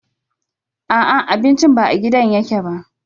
A'a, abincin ba a gidan yake ba.